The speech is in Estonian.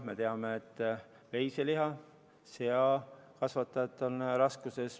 Me teame, et veise- ja seakasvatajad on raskustes.